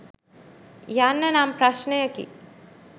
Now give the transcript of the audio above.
යන්න නම් ප්‍රශ්නයකි.